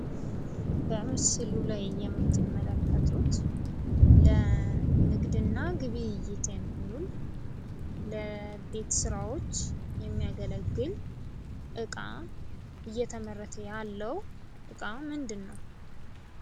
በምስሉ ላይ የምትመለከቱት ለንግድና ግብይት የሚውል ለቤት ስራዎች የሚያገለግል እቃ እየተመረተ ያለ እቃ ምንድን ነው?